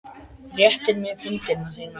Réttir mér hönd þína.